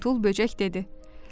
Bozumtul böcək dedi.